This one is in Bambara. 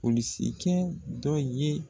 Polisi cɛ dɔ ye